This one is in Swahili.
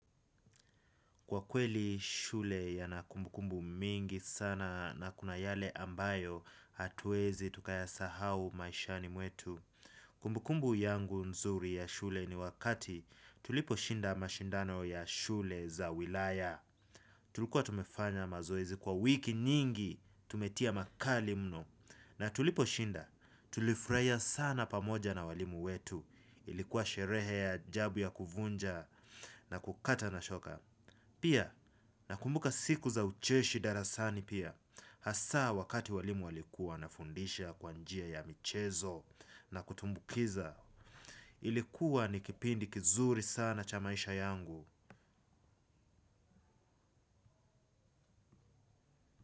Kwa kweli shule yana kumbukumbu mingi sana na kuna yale ambayo hatuezi tukayasahau maishani mwetu. Kumbukumbu yangu nzuri ya shule ni wakati tuliposhinda mashindano ya shule za wilaya. Tulikuwa tumefanya mazoezi kwa wiki nyingi tumetia makali mno. Na tuliposhinda tulifurahia sana pamoja na walimu wetu ilikuwa sherehe ya ajabu ya kuvunja na kukata na shoka. Pia, nakumbuka siku za ucheshi darasani pia, hasaa wakati walimu walikuwa wanafundisha kwa njia ya michezo na kutumbukiza, ilikuwa ni kipindi kizuri sana cha maisha yangu.